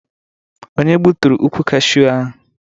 Onye gbutụrụ ukwụ Kashu ahụ?